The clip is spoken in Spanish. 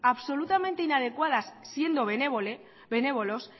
absolutamente inadecuada siendo benévolos